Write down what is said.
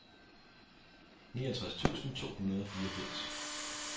niogtres tusind to hundrede og fireogfirs